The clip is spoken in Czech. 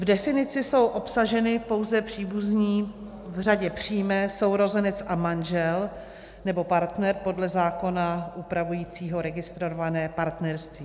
V definici jsou obsaženy pouze příbuzní v řadě přímé, sourozenec a manžel nebo partner podle zákona upravujícího registrované partnerství.